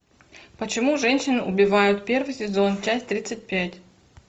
почему женщины убивают первый сезон часть тридцать пять